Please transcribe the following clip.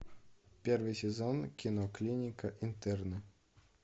первый сезон кино клиника интерны